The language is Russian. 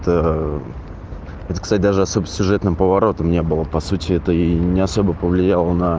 ты этот кстати даже особо сюжетным поворотом не было по сути это не особо повлияло на